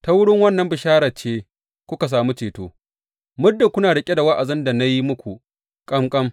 Ta wurin wannan bisharar ce kuka sami ceto, muddin kuna riƙe da wa’azin da na yi muku kam kam.